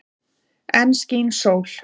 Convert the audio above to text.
Enn skín sól.